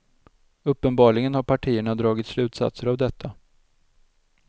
Uppenbarligen har partierna dragit slutsatser av detta.